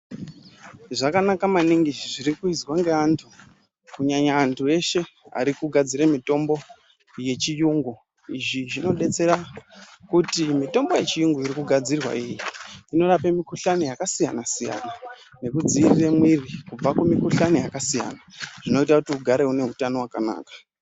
Zvakanaka maningi zviri kuizwa ngevandu kunyanya andu eshe arikugadzira mutombo yechiyungu izvi zvinodetsera kuti mutombo yechiyungu iyi irikugadzirwa iyi inorape mukuhlani yakasiyana siyana nekudzirira mwiri kubva kumukuhlani yakasiyana zvinoita kuti ugare une utano wakanaka.